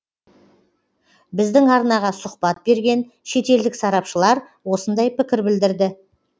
біздің арнаға сұхбат берген шетелдік сарапшылар осындай пікір білдірді